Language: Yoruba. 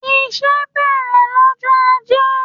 Iṣẹ́ bẹ̀rẹ̀ lọ́jọ Ajé.